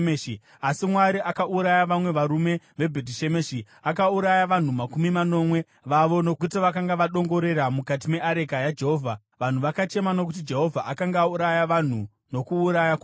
Asi Mwari akauraya vamwe vavarume veBhetishemeshi, akauraya vanhu makumi manomwe vavo nokuti vakanga vadongorera mukati meareka yaJehovha. Vanhu vakachema nokuti Jehovha akanga auraya vanhu nokuuraya kukuru,